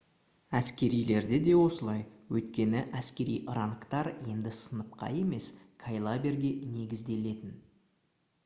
әскерилерде де осылай өйткені әскери рангтар енді сыныпқа емес кайлаберге негізделетін